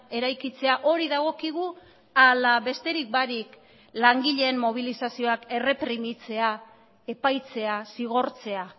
eraikitzea hori dagokigu ala besterik barik langileen mobilizazioak erreprimitzea epaitzea zigortzea